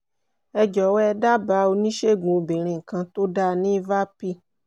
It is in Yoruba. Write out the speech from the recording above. ẹ jọ̀wọ́ ẹ dábàá oníṣègùn obìnrin kan tó dáa ní vapi?